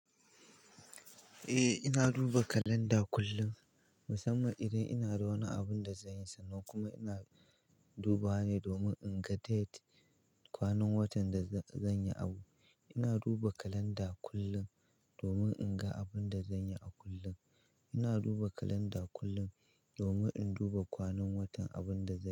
Eh ina duba kalanda kullum musamman idan ina da wani abin da zan yi sannan kuma ina dubawa ne domin in ga date, kwanan watan da zan yi abu. Ina duba kalanda kullum domin in ga abin da zan yi a kullum. Ina duba kalanda kullum domin in duba kwanan watan abin da zan.